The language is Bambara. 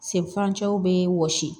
Sen furancɛw be wɔsi